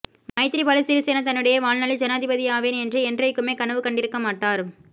மைத்திரிபால சிறிசேன தன்னுடைய வாழ்நாளில் ஜனாதிபதியாவேன் என்று என்றைக்குமே கனவு கண்டிருக்கமாட்டார்